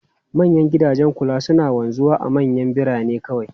Manyan gidajen kula suna wanzuwa a manyan birane kawai.